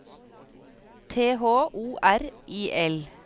T H O R I L